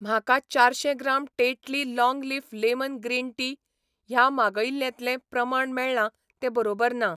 म्हाका चारशें gram Tetley long leaf lemon green tea ह्या मागयिल्ल्यांतलें प्रमाण मेळ्ळां तें बरोबर ना.